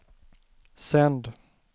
sänd